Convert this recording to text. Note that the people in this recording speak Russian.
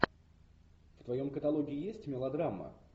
в твоем каталоге есть мелодрама